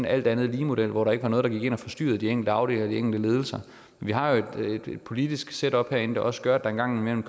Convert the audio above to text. alt andet lige model hvor der ikke var noget der gik ind og forstyrrede de enkelte afdelinger og de enkelte ledelser vi har jo et politisk setup herinde der også gør at der engang imellem